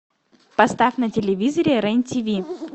поставь на телевизоре рен тиви